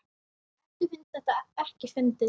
Eddu finnst þetta ekkert fyndið.